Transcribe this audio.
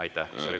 Aitäh!